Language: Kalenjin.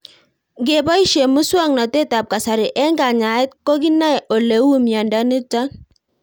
Ng'epoishe muswog'natet ab kasari eng' kanyaet ko kinae ole uu miondo nitok